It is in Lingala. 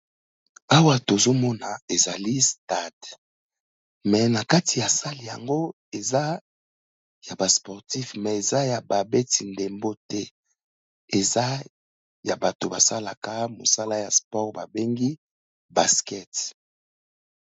Awa tozo mona ezali stade me na kati ya sale yango eza ya ba sportif, me eza ya ba beti ndembo te. Eza ya bato basalaka mosala ya sport ba bengi basket.